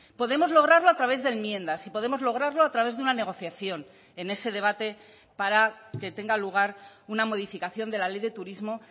podemos lograrlo a través de enmiendas y podemos lograrlo a través de una negociación en ese debate para que tenga lugar una modificación de la ley de turismo